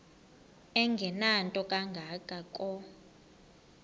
engenanto kanga ko